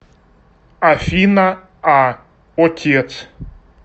афина а отец